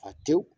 Fa tew